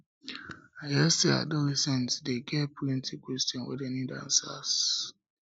i hear sey adolescents dey get plenty questions wey dem need answers